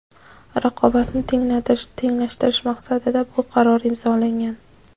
raqobatni tenglashtirish maqsadida bu qaror imzolangan.